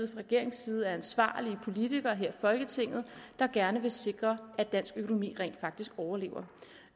regeringens side er ansvarlige politikere her i folketinget der gerne vil sikre at dansk økonomi rent faktisk overlever